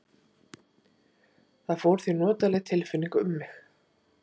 Það fór því notaleg tilfinning um mig.